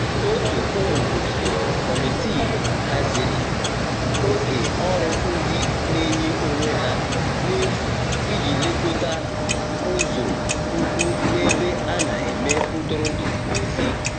ótu ụmụ ogige/ Kọmitịị hazịrị oge ọrụ ndi n'enye onwe ha n'efu ịji lekota ụzo ukwu n'ebe ana eme ntụrụndụ n'ezi